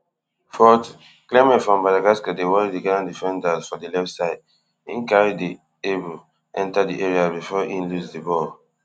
fortyclement from madagascar dey worry di ghana defenders for di left side im carry di abll enta di area bifor im lose di ball